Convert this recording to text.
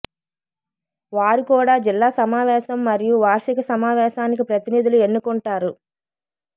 వారు కూడా జిల్లా సమావేశం మరియు వార్షిక సమావేశానికి ప్రతినిధులు ఎన్నుకుంటారు